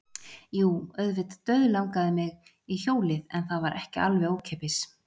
Jú, auðvitað dauðlangaði mig í hjólið en það var ekki alveg ókeypis.